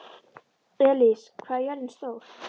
Elis, hvað er jörðin stór?